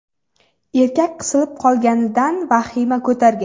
Erkak qisilib qolganidan vahima ko‘targan.